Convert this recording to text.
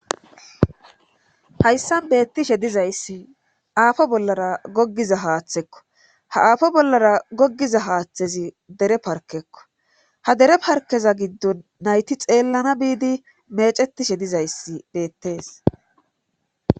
hayssan beettishe dizayssi aafo bollara goggiza haaththekko ha aafo bollara gogiza haaththezi dere parkekko ha dere parkeza giddon nayti xeellana biidi mecetishe dizayssi beettees